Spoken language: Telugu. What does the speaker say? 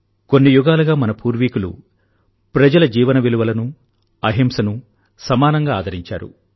కొన్ని యుగాలుగా మన పూర్వీకులు ప్రజల జీవన విలువలను అహింసను సమానంగా ఆదరించారు